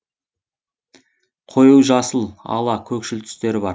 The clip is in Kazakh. қою жасыл ала көкшіл түстері бар